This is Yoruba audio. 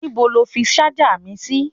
Níbo lo fi ṣájà mi sí?